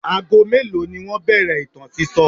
Ago mélòó ni wọ́n bẹ̀rẹ̀ ìtàn sísọ?